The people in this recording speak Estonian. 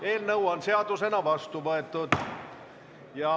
Eelnõu on seadusena vastu võetud.